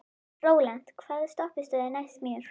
Rólant, hvaða stoppistöð er næst mér?